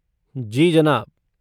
जी जनाब।